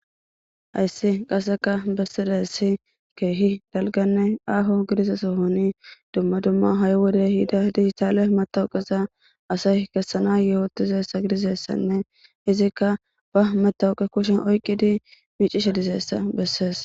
Hayssi qasseka bessidesi keehi dalganne aaho gidiza sohoni dumma dumma ha7i wode hida diissale matawuqeza asay kessana yehootizessa gidizessanne izikka ba matawuqe kushen oyqqidi miicishe dizeessa bessees.